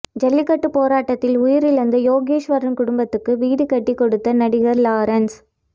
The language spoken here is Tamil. ஜல்லிக்கட்டுப் போராட்டத்தில் உயிரிழந்த யோகேஸ்வரன் குடும்பத்துக்கு வீடு கட்டிக் கொடுத்த நடிகர் லாரன்ஸ்